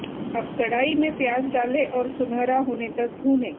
अब कड़ाही में प्याज डालें और सुनहरा होने तक भूनें